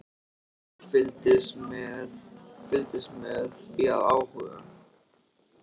Jón fylgdist með því af áhuga.